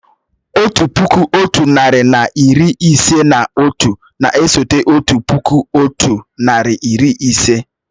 Otu puku, otu narị na iri ise na otu na-eso otu puku otu nari na iri ise